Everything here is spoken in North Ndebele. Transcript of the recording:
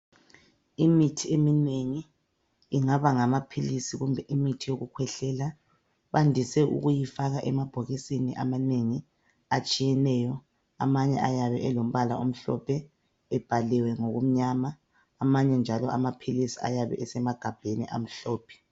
Imithi eminengi. Ingaba ngamaphilisi kumbe imithi yokukhwehlela bandise ukuyifaka emabhokisini amanengi atshiyeneyo. Amanye ayabe elombala omhlophe ebhaliwe ngukumnyama. Amanye njalo amaphilisi ayabe esemagabheni amhlophe.